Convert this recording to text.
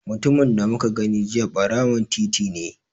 Mutumin da muka gani jiya ɓarawon titi ne.